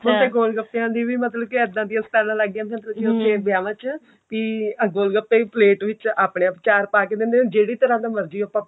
ਮੈਨੂੰ ਤੇ ਗੋਲਗੱਪੇ ਦੀ ਵੀ ਮਤਲਬ ਇੱਦਾਂ ਦੀਆਂ ਸਟਾਲਾਂ ਲੱਗ ਗਈਆਂ ਵਿਆਵਾਂ ਚ ਕਿ ਆਹ ਗੋਲਗੱਪੇ ਵੀ ਪਲੇਟ ਵਿੱਚ ਆਪਣੇ ਆਪ ਚਾਰ ਪਾ ਕਿ ਦਿੰਦੇ ਹਨ ਜਿਹੜੀ ਤਰਾਂ ਦਾ ਮਰਜ਼ੀ ਆਪਾਂ